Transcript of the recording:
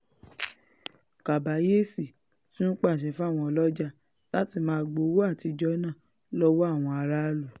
kàbàyèsí tún pàṣẹ fáwọn ọlọ́jà láti máa gba owó àtijọ́ náà lọ́wọ́ àwọn aráàlú